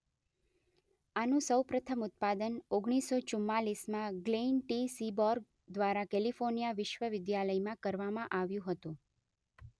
આનું સૌપ્રથમ ઉત્પાદન ઓગણીસ સો ચુમ્માલીસ માં ગ્લેન ટી સીબોર્ગ દ્વારા કેલિફોર્નિયા વિશ્વવિદ્યાલયમાં કરવામાં આવ્યું હતું